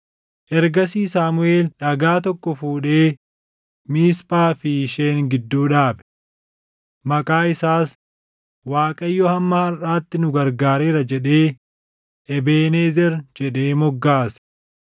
Ergasii Saamuʼeel dhagaa tokko fuudhee Miisphaa fi Sheen gidduu dhaabe. Maqaa isaas, “ Waaqayyo hamma harʼaatti nu gargaareera” jedhee, “Ebeenezer” jedhee moggaase.